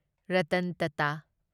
Ratan Tata